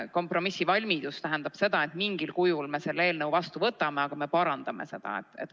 Kompromissivalmidus tähendab seda, et mingil kujul me selle eelnõu vastu võtame, aga me parandame seda.